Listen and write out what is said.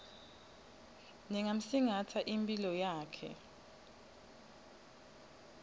ngingamsingatsa imphilo yakhe